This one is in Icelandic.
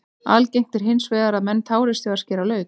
Algengt er hins vegar að menn tárist við að skera lauk.